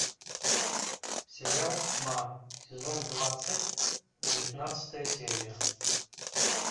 сериал тьма сезон двадцать девятнадцатая серия